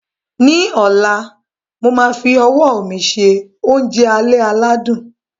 Ní ọ̀la, mo máa fi ọwọ́ mi se oúnjẹ alẹ́ aládùn